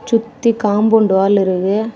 ச்சுத்தி compound wall இருக்கு.